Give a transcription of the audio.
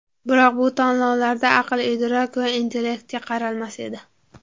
Biroq bu tanlovlarda aql-idrok va intellektga qaralmas edi.